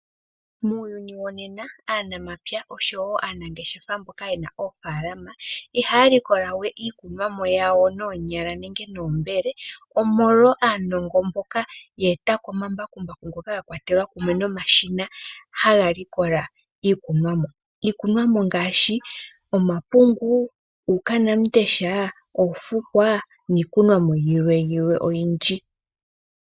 Muuyuni wonena aanamapya oshowo aanangeshefa mboka yena oofaalama, ihaya likola we iikunomwa yawo noonyala nenge noombele, omolwa aanongononi mboka ya etapo omambakumbaku nomashina ngoka haga likola iikunomwa. Iikunomwa ngaashi omapungu, uunawamundesha, oofukwa, niikunomwa yilwe oyindji.